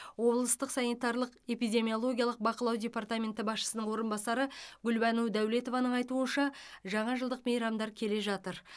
облыстық санитарлық эпидемиологиялық бақылау департаменті басшысының орынбасары гүлбану дәулетованың айтуынша жаңа жылдық мейрамдар келе жатыр